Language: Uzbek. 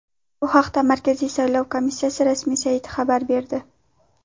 Bu haqda Markaziy saylov komissiyasi rasmiy sayti xabar berdi .